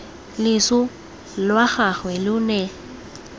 loso lwa gagwe lo ne